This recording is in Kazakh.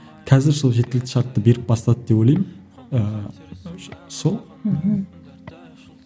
қазір сол жеткілікті шартты беріп бастады деп ойлаймын ыыы сол мхм